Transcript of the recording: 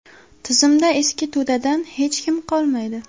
Tizimda eski to‘dadan hech kim qolmaydi.